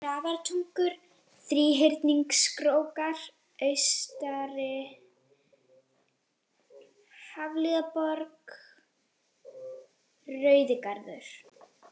Grafartungur, Þríhyrningskrókar austari, Hafliðaborg, Rauðigarður